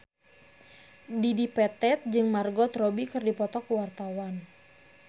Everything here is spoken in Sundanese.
Dedi Petet jeung Margot Robbie keur dipoto ku wartawan